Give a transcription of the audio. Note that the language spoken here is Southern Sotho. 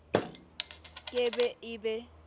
ke be e e be